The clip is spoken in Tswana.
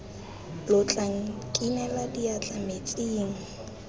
lo tla nkinela diatla metsing